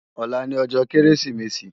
Òlá ni òjò Kérésimési